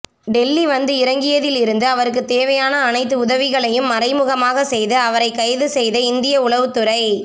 டெல்லி வந்து இறங்கியதில் இருந்து அவருக்கு தேவையான அனைத்து உதவிகளையும் மறைமுகமாக செய்து அவரை கைது செய்த இந்திய உளவுத்துறை